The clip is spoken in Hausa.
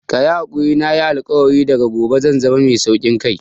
Kayi hakuri nayi alkawarin daga gobe zan zama mai saukin kai